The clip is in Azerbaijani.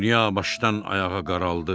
Dünya başdan ayağa qaraldı.